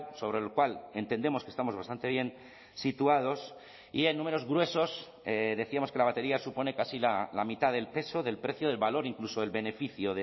sobre el cual entendemos que estamos bastante bien situados y en números gruesos decíamos que la batería supone casi la mitad del peso del precio del valor incluso el beneficio